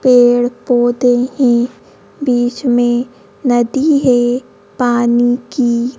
पेड़ पौधे ही बीच में नदी है पानी की।